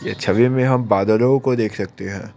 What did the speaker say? इस छवि में हम बादलों को देख सकते हैं।